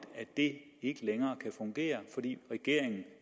at det ikke længere kan fungere fordi regeringen